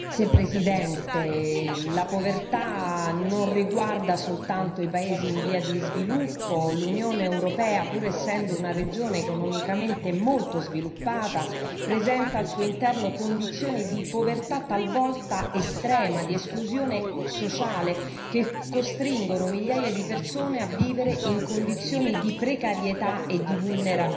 Signor Presidente, onorevoli colleghi, la povertà non riguarda soltanto i paesi in via di sviluppo, l'Unione europea, pur essendo una regione economicamente molto sviluppata, presenta al suo interno condizioni di povertà talvolta estrema, di esclusione sociale, che costringono migliaia di persone a vivere in condizioni di precarietà e di vulnerabilità.